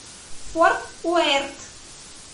форт уэрт